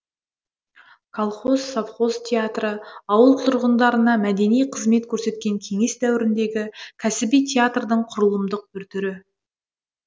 колхоз совхоз театры ауыл тұрғындарына мәдени қызмет көрсеткен кеңес дәуіріндегі кәсіби театрдың құрылымдық бір түрі